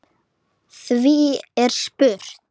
Því er spurt: